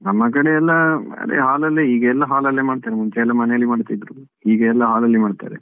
ನಮ್ಮ ಕಡೆಯಲ್ಲಿ ಅದೇ hall ಲ್ಲಿ ಈಗ ಎಲ್ಲಾ hall ಅಲ್ಲೇ ಮಾಡ್ತಾರೆ ಮುಂಚೆಯಲ್ಲ ಮನೆಯಲ್ಲಿ ಮಾಡ್ತಿದ್ರು. ಈಗ ಎಲ್ಲಾ hall ಅಲ್ಲೇ ಮಾಡ್ತಾರೆ.